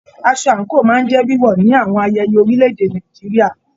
Aṣọ anko máa n jẹ wíwọ ní àwọn ayẹyẹ orílè-èdè Nàìjíríà.